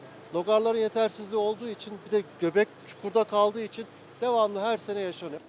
Loğarların yetərsizliyi olduğu üçün bir də göbək çukurda qaldığı üçün davamlı hər sənə yaşanır.